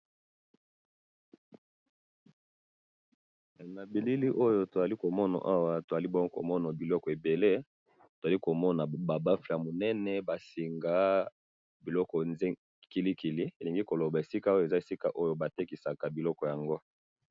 na bilili oyo tozali komona awa, tozali bongo komona biloko ebele, tozali komona ba baffle ya munene, bansinga biloko kilikili, elingi koloba esika oyo eza esika batekisaka biloko yango